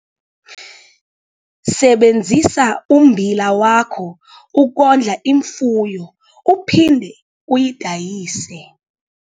Sebenzisa ummbila wakho ukondla imfuyo uphinde uyidayise